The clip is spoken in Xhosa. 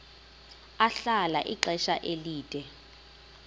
ahlala ixesha elide